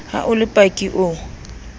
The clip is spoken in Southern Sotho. ha o le paki o